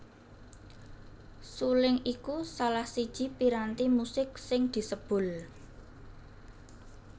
Suling iku salah siji piranti musik sing disebul